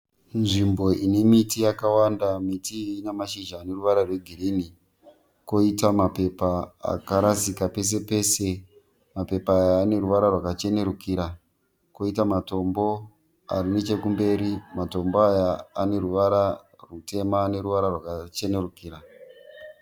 Nzvimbo ine miti yakawanda. Miti iyi ine mashizha ane ruvara rwegirinhi. Kwoita mapepa akarasika pese pese. Mapepa aya ane ruvara rwakachenerukira kwoita matombo ari nechekumberi. Matombo aya ane ruvara rutema neruvara rwakachenerukira.